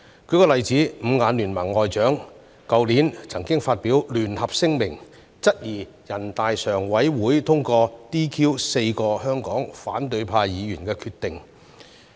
舉例而言，"五眼聯盟"外長去年曾發表聯合聲明，質疑人大常委會通過 "DQ" 4名香港反對派議員的決定。